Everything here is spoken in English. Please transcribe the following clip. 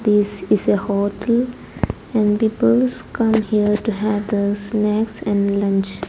this is a hotel and peoples come here to have the snacks and lunch.